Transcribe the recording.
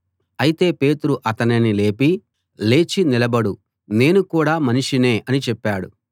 అయితే పేతురు అతనిని లేపి లేచి నిలబడు నేను కూడా మనిషినే అని చెప్పాడు